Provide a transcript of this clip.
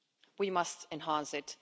We must enhance it.